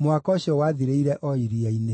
Mũhaka ũcio wathirĩire o iria-inĩ.